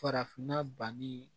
Farafinna banni